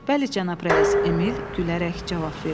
Bəli, cənab rəis, Emil gülərək cavab verdi.